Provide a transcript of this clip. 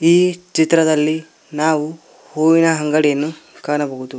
ಈ ಚಿತ್ರದಲ್ಲಿ ನಾವು ಹೂವಿನ ಅಂಗಡಿಯನ್ನು ಕಾಣಬಹುದು.